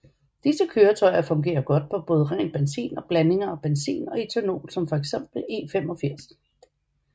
Disse køretøjer fungerer godt på både ren benzin og blandinger af benzin og ethanol som for eksempel E85